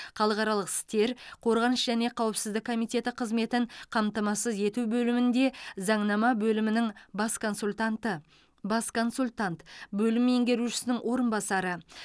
халықаралық істер қорғаныс және қауіпсіздік комиеті қызметін қамтамасыз ету бөлімінде заңнама бөлімінің бас консультанты бас консультант бөлім меңгерушісінің орынбасары